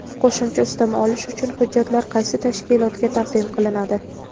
Qo‘shimcha ustama olish uchun hujjatlar qaysi tashkilotga taqdim qilinadi:.